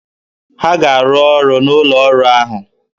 Ha ga-arụ ọrụ n'ụlọ ọrụ ahụ!